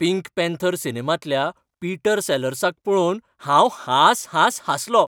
Pink Panther सिनेमांतल्या Peter सेलर्साक पळोवन हांव हांस हांस हांसलो.